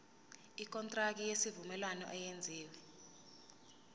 ikontraki yesivumelwano eyenziwe